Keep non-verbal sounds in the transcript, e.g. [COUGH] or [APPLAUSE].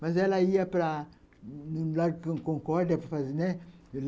Mas ela ia para [UNINTELLIGIBLE] concórdia para fazer, né